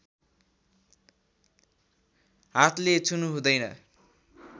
हातले छुनुहुँदैन